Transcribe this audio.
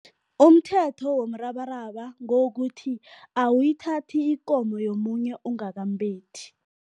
Umthetho womrabaraba ngewokuthi awuyithathi ikomo yomunye ungakambethi.